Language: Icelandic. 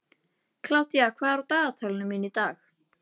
Kládía, hvað er á dagatalinu mínu í dag?